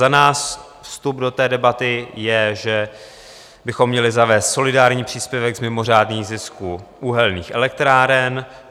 Za nás vstup do té debaty je, že bychom měli zavést solidární příspěvek z mimořádných zisků uhelných elektráren.